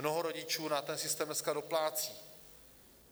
Mnoho rodičů na ten systém dneska doplácí.